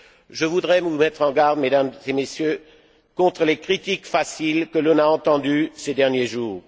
Je voudrais vous mettre en garde, Mesdames et Messieurs, contre les critiques faciles que l'on a entendues ces derniers jours.